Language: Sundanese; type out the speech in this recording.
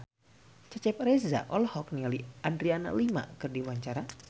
Cecep Reza olohok ningali Adriana Lima keur diwawancara